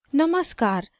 नमस्कार !